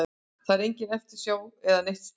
Það er engin eftirsjá eða neitt slíkt.